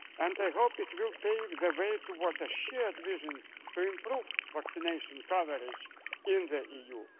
year. I hope it will pave the way towards a shared vision to improve vaccination coverage in